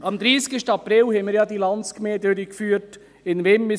Am 30. April führten wir ja die Landsgemeinde in Wimmis durch.